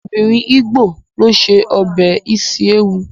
Obìnrin ígbò ló ṣe ọbẹ̀ isi ewu